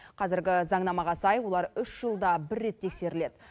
қазіргі заңнамаға сай олар үш жылда бір рет тексеріледі